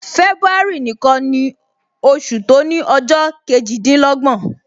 February nìkan ni oṣù to ni ọjọ kejidinlogbon